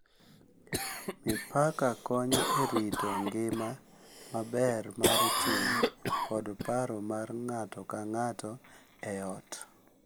Mipaka konyo e rito ngima maber mar chuny kod paro mar ng’ato ka ng’ato e ot,